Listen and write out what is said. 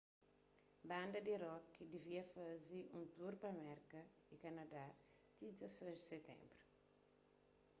banda di rock devia faze un tur pa merka y kanadá ti 16 di siténbru